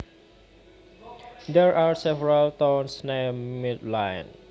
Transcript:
There are several towns named Midland